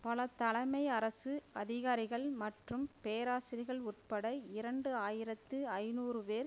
பல தலைமை அரசு அதிகாரிகள் மற்றும் பேராசிர்கள் உட்பட இரண்டு ஆயிரத்தி ஐநூறு பேர்